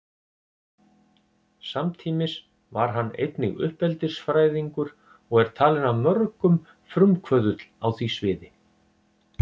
Samtímis var hann einnig uppeldisfræðingur og er talinn af mörgum frumkvöðull á því sviði.